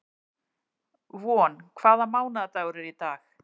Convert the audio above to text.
Von, hvaða mánaðardagur er í dag?